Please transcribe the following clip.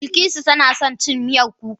Bilikisu tana son cin Miyar kuka